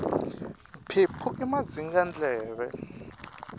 mphephu i madzingandleve